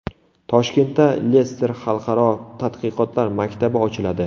Toshkentda Lester xalqaro tadqiqotlar maktabi ochiladi.